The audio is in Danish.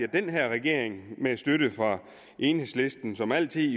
den her regering med støtte fra enhedslisten som jo altid